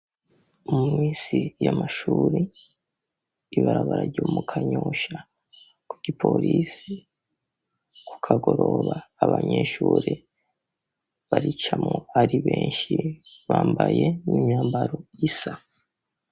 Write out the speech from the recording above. Muminsi y'amashuri, ibarabara ryo mu kanyosha ku ki polisi ku kagoroba abanyeshure barica mu ari benshi bambaye n'imyambaro isa.